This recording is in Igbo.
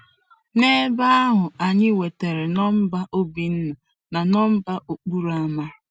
N'ebe ahụ, anyị nwetara nọmba Obinna na nọmba okporo ámá.